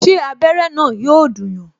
Ṣé abere na yọ dùn yàn?